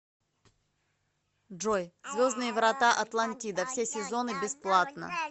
джой звездные врата атлантида все сезоны бесплатно